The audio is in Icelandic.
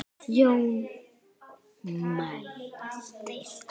Jón mælti